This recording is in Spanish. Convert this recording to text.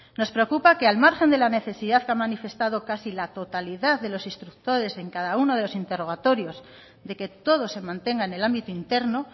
nos preocupa que al margen de la necesidad que ha manifestado casi la totalidad de los instructores en cada uno de los interrogatorios de que todo se mantenga en el ámbito interno